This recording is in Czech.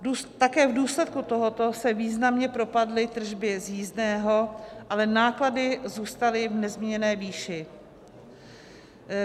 Také v důsledku tohoto se významně propadly tržby z jízdného, ale náklady zůstaly v nezměněné výši.